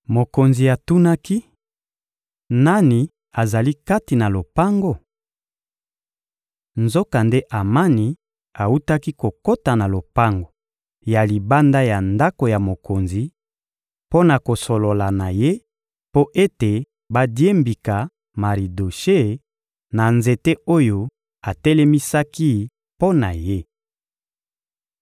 Mokonzi atunaki: — Nani azali kati na lopango? Nzokande Amani awutaki kokota na lopango ya libanda ya ndako ya mokonzi mpo na kosolola na ye mpo ete badiembika Maridoshe na nzete oyo atelemisaki mpo na ye.